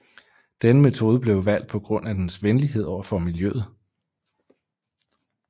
Denne metode blev valgt på grund af dens venlighed over for miljøet